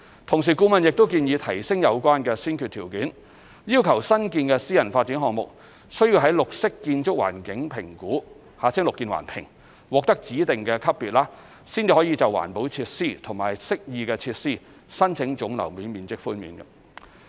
同時，顧問亦建議提升有關先決條件，要求新建私人發展項目須於綠色建築環境評估獲得指定級別，才可就環保設施及適意設施申請總樓面面積寬免。